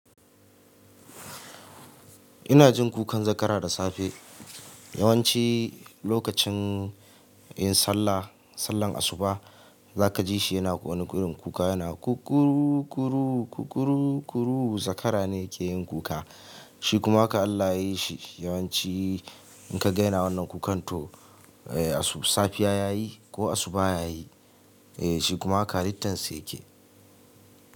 Ina jin kukan zakara da safe yawanci lokacin in sallah, sallar asuba zaka ji shi yana wani ƙuri'n kuka yana zakara ne ke yin kuka shi kuma ka Allah yashi yawanci in ka gaina wannan kukan to eh safiya yayi ko asuba yayi eh shi kuma lalittan sa yake.